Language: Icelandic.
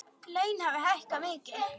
Laun hafi hækkað mikið.